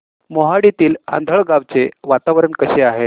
मोहाडीतील आंधळगाव चे वातावरण कसे आहे